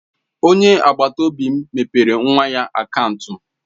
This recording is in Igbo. Onye agbata obi m mepere nwa ya akaụntụ.